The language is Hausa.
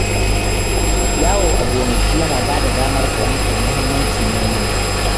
Yawo a gonaki yana ba da damar fahimtar mahimmancin noma.